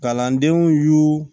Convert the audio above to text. Kalandenw y'u